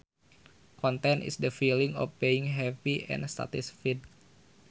Content is the feeling of being happy and satisfied